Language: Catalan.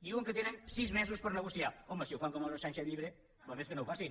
diuen que tenen sis mesos per negociar home si ho fan com el sánchez llibre val més que no ho facin